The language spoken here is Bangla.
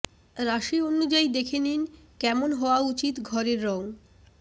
রাশি অনুযায়ী দেখে নিন কেমন হওয়া উচিত ঘরের রং